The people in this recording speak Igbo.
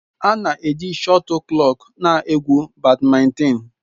A na-eji shọtulkọk na-egwu Bádmintịn.